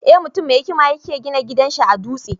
Eh, mutum mai hikima ya ke gina gidan sa a dutse.